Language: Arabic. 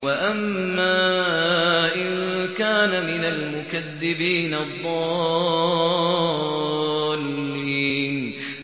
وَأَمَّا إِن كَانَ مِنَ الْمُكَذِّبِينَ الضَّالِّينَ